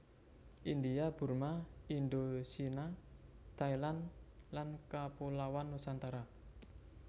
India Burma Indochina Thailand lan Kapuloan Nusantara